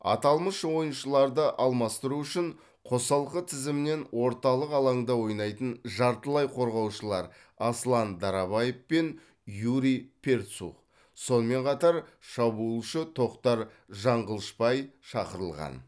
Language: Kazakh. аталмыш ойыншыларды алмастыру үшін қосалқы тізімнен орталық алаңда ойнайтын жартылай қорғаушылар аслан дарабаев пен юрий перцух сонымен қатар шабуылшы тоқтар жаңғылышбай шақырылған